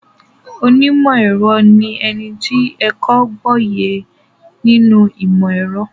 Onímọ̀-ẹ̀rọ ní ẹni tó ẹ́kọ̀ọ́ gboyè nínú ìmọ-ẹ̀rọ.